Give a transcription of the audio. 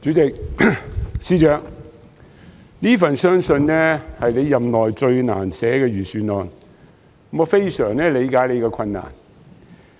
主席，相信這份是司長任內最難寫的財政預算案，我非常理解他的困難。